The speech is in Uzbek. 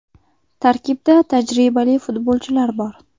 Tarkibda tajribali futbolchilar bor.